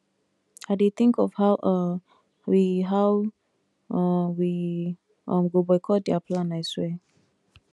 i dey think of how um we how um we um go boycott their plan i swear